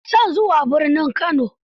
Ina son zuwa birnin Kano.